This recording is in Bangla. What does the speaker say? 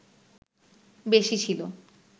বেশি ছিলো